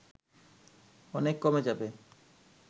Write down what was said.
অনেক কমে যাবে